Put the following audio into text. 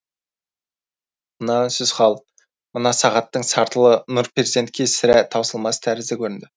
мына үнсіз хал мына сағаттың сартылы нұрперзентке сірә таусылмас тәрізді көрінді